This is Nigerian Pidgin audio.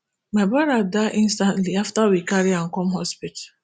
my broda die instantly afta we carry am come hospital